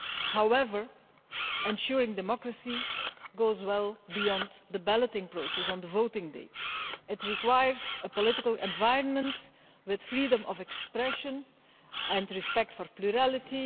However, ensuring that democracy goes well beyond the balloting process on voting day requires a political environment with freedom of expression and respect for plurality.